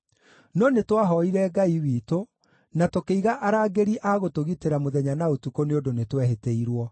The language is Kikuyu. No nĩtwahooire Ngai witũ na tũkĩiga arangĩri a gũtũgitĩra mũthenya na ũtukũ nĩ ũndũ nĩtwehĩtĩirwo.